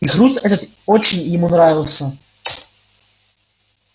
и хруст этот очень ему нравился